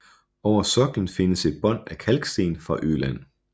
Over soklen findes et bånd af kalksten fra Øland